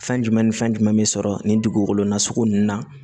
Fɛn jumɛn ni fɛn jumɛn bɛ sɔrɔ nin dugukolo nasugu ninnu na